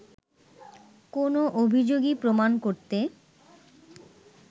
কোনো অভিযোগই প্রমাণ করতে